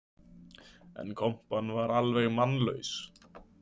En kompan var alveg mannlaus.